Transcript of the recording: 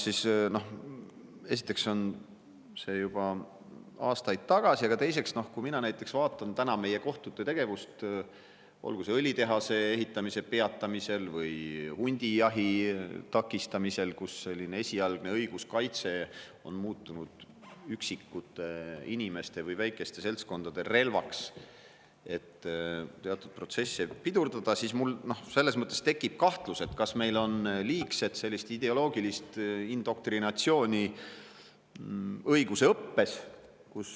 Esiteks oli see juba aastaid tagasi ja teiseks, kui mina vaatan täna meie kohtute tegevust, olgu see õlitehase ehitamise peatamisel või hundijahi takistamisel, kus esialgne õiguskaitse on muutunud üksikute inimeste või väikeste seltskondade relvaks, et teatud protsesse pidurdada, siis mul tekib kahtlus, et vahest meil on õiguseõppes liigset ideoloogilist indoktrinatsiooni.